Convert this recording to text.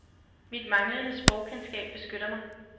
Mit manglende sprogkendskab beskytter mig.